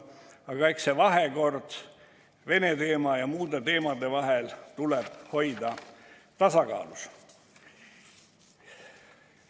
Aga eks see Vene teema ja muude teemade vahekord tuleb hoida tasakaalus.